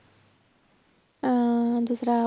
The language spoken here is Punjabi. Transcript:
ਅਹ ਦੂਸਰਾ